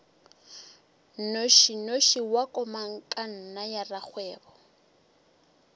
nnošinoši wa komangkanna ya rakgwebo